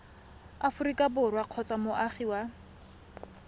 aforika borwa kgotsa moagi wa